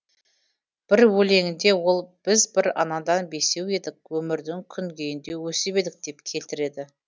бір өлеңінде ол біз бір анадан бесеу едік өмірдің күнгейінде өсіп едік деп келтіреді